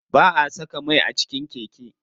Ba'a saka mai a cikin keke.